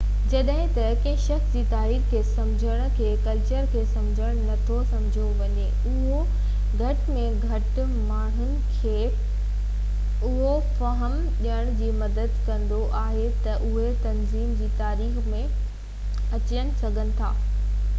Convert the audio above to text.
جڏهن ته ڪنهن شخص جي تاريخ کي سمجهڻ کي ڪلچر کي سمجھڻ نٿو سمجهيو وڃي اهو گهٽ ۾ گهٽ ماڻهن کي اهو فهم ڏيڻ ۾ مدد ڪندو آهي ته اهي تنظيم جي تاريخ ۾ ڪٿي اچن ٿا